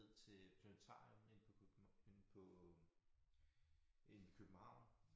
Ned til Planetarium inde på inde på inde i København